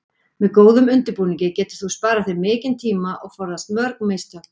Með góðum undirbúningi getur þú sparað þér mikinn tíma og forðast mörg mistök.